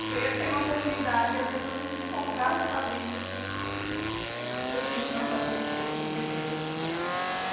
Você ia ter uma comunidade e as pessoas iam se encontrar sabendo que nossa pertenciam à família dos três mosqueteiros.